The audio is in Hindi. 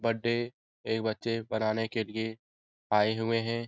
बर्थडे ए बच्चे मनाने के लिए आये हुए हैं।